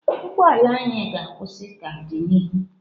Ụgbọ ala anyị ga-akwụsị ka dị n'ihu.